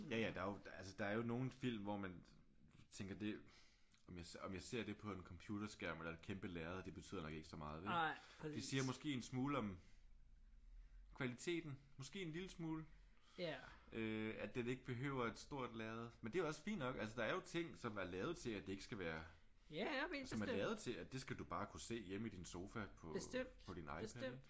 Ja ja der er jo altså der er jo nogle film hvor man tænker det om jeg om jeg ser det på en computerskærm eller et kæmpe lærred det betyder nok ikke så meget vel? Det siger måske en smule om kvaliteten. Måske en lille smule øh at den ikke behøver et stort lærred. Men det er også fint nok. Altså der er jo ting som er lavet til at det ikke skal være som er lavet til at det skal du bare kunne se hjemme i din sofa på på din iPad ik?